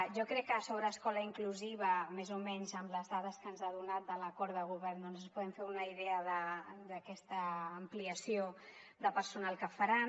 jo crec que sobre escola inclusiva més o menys amb les dades que ens ha donat de l’acord de govern doncs ens podem fer una idea d’aquesta ampliació de personal que faran